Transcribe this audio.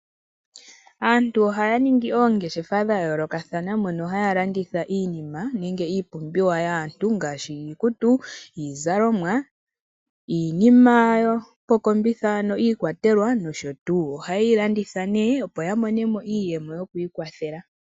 Aantu oha ya yang oongeshefa dha yoolokathana mono ha ya landitha iinima, nenge iipumbiwa yaantu ngaashi iikutu, iizalomwa, iinima yoko kombitha ano iikwatelwa, nosho tuu. Oha ye yi landitha ne opo ya monemo iiyemo yo kwiikwathela.